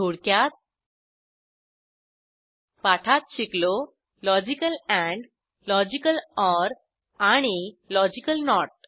थोडक्यात पाठात शिकलो लॉजिकल एंड लॉजिकल ओर आणि लॉजिकल नोट